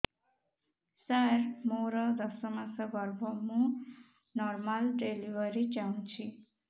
ସାର ମୋର ଦଶ ମାସ ଗର୍ଭ ମୁ ନର୍ମାଲ ଡେଲିଭରୀ ଚାହୁଁଛି